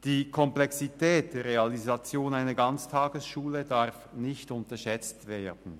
Die Komplexität der Realisation einer Ganztagesschule darf nicht unterschätzt werden.